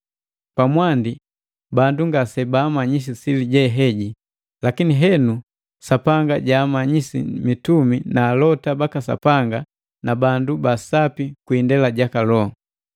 Pamwandi bandu ngase baamanyisi sili je heji; lakini henu Sapanga jaamanyisi mitumi na alota baka Sapanga na bandu ba Sapi kwi indela ja Loho.